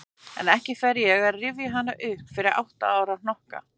En ekki fer ég að rifja hana upp fyrir átta ára hnokka.